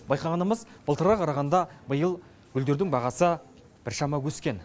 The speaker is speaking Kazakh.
байқағанымыз былтырғыға қарағанда биыл гүлдердің бағасы біршама өскен